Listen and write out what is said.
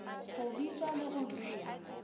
go bitša le go bea